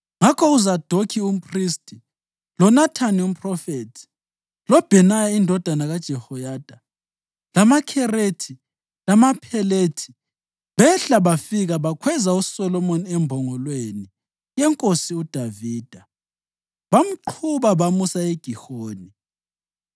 Ngakho uZadokhi umphristi, loNathani umphrofethi, loBhenaya indodana kaJehoyada lamaKherethi lamaPhelethi behla bafika bakhweza uSolomoni embongolweni yeNkosi uDavida bamqhuba bamusa eGihoni.